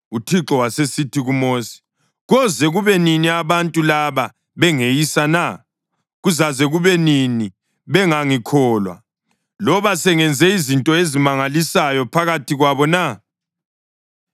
UThixo wasesithi kuMosi, “Koze kube nini abantu laba bengeyisa na? Kuzaze kube nini bengangikholwa, loba sengenze izinto ezimangalisayo phakathi kwabo na?